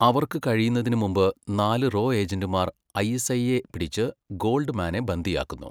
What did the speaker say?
അവർക്ക് കഴിയുന്നതിനുമുമ്പ്, നാല് റോ ഏജന്റുമാർ ഐഎസ്ഐയെ പിടിച്ച് ഗോൾഡ്മാനെ ബന്ദിയാക്കുന്നു.